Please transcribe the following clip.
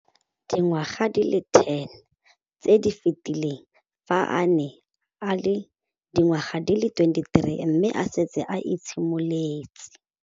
Dingwaga di le 10 tse di fetileng, fa a ne a le dingwaga di le 23 mme a setse a itshimoletse.